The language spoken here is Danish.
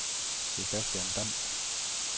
Sebastian Damm